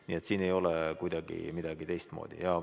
Nii et siin ei ole kuidagi midagi teistmoodi.